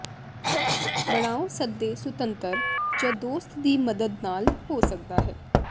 ਬਣਾਓ ਸੱਦੇ ਸੁਤੰਤਰ ਜ ਦੋਸਤ ਦੀ ਮਦਦ ਨਾਲ ਹੋ ਸਕਦਾ ਹੈ